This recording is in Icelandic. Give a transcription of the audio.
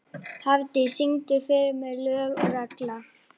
Hafdís, syngdu fyrir mig „Lög og regla“.